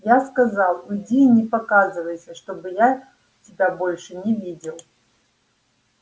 я сказал уйди и не показывайся чтобы я тебя больше не видел